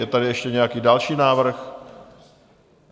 Je tady ještě nějaký další návrh?